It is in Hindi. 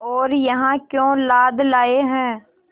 और यहाँ क्यों लाद लाए हैं